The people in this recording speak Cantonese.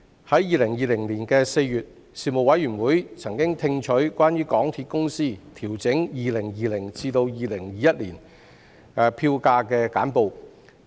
在2020年4月，事務委員會曾聽取關於香港鐵路有限公司調整 2020-2021 年度票價的簡報。